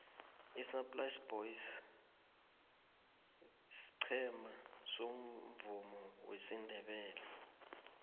isaai plaas boys siqhema somvumo wesindebele